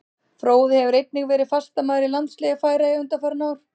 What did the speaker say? Fróði hefur einnig verið fastamaður í landsliði Færeyja undanfarin ár.